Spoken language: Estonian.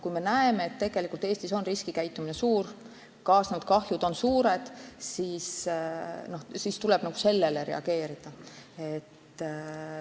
Kui me näeme, et Eestis on riskikäitumine levinud ja kaasnenud kahjud suured, siis tuleb sellele reageerida.